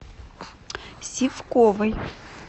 сивковой